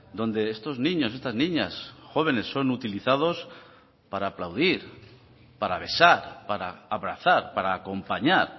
donde estos niños estas niñas jóvenes son utilizados para aplaudir para besar para abrazar para acompañar